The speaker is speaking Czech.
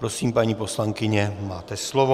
Prosím, paní poslankyně, máte slovo.